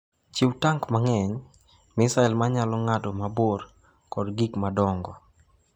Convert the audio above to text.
Chiw tank mang’eny, misil ma nyalo ng’ado mabor kod gik madongo.